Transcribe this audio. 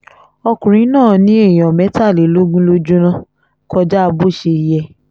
ọkùnrin náà ni èèyàn mẹ́tàlélógún ló jóná kọjá bó ṣe yẹ